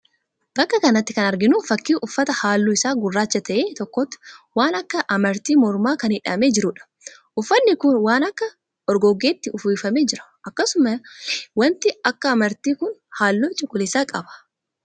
Bakka kanatti kan arginuu fakkii uffata halluun isaa gurraacha ta'e tokkotti waan akka amartii mormaa kan hidhamee jiruudha. Uffatni kun waan akka orgoggeetti uwwifamee jira. Akkasumallee waanti akka amartii kun halluu cuquliisa qaba.